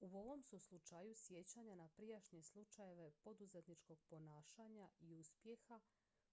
u ovom su slučaju sjećanja na prijašnje slučajeve poduzetničkog ponašanja i uspjeha